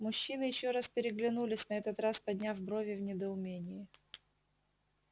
мужчины ещё раз переглянулись на этот раз подняв брови в недоумении